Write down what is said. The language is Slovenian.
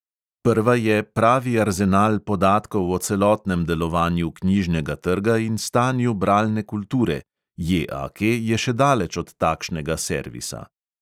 Prva je pravi arzenal podatkov o celotnem delovanju knjižnega trga in stanju bralne kulture, JAK je še daleč od takšnega servisa.